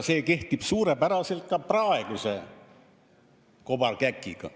See kehtib suurepäraselt ka praeguse kobarkäki puhul.